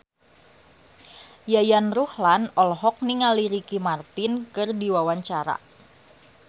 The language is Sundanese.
Yayan Ruhlan olohok ningali Ricky Martin keur diwawancara